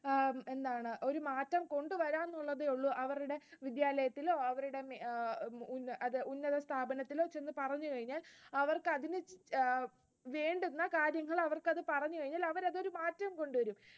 എന്താണ് ഒരു മാറ്റം കൊണ്ടുവരാനുള്ളതേയുള്ളു അവരുടെ വിദ്യാലയത്തിലോ അവരുടെ ഉന്നതസ്ഥാപനത്തിലോ പിന്നെ പറഞ്ഞു കഴിഞ്ഞാൽ അവർക്ക് അതില് വേണ്ടുന്ന കാര്യങ്ങൾ അവർക്ക് അത് പറഞ്ഞു കഴിഞ്ഞാൽ അവരത് മാറ്റം കൊണ്ടുവരും